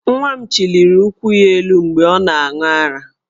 Nwa m chiliri ụkwụ ya elu, mgbe ọ na-aṅụ ara,.